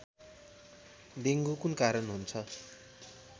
dengue कुन कारण हुन्छ